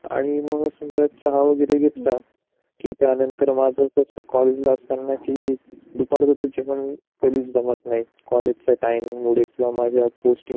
आणि मग समझ चहा वैगेरे घेतला कि त्यानन्तर मला कॉलेज असताना कि दुपारचे जेवण कधीच जमत नाही कॉलेज मुळे किंवा माझया